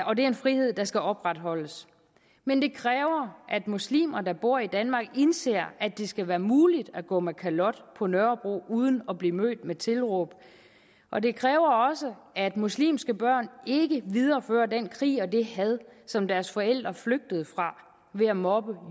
og det er en frihed der skal opretholdes men det kræver at muslimer der bor i danmark indser at det skal være muligt at gå med kalot på nørrebro uden at blive mødt med tilråb og det kræver også at muslimske børn ikke viderefører den krig og det had som deres forældre flygtede fra ved at mobbe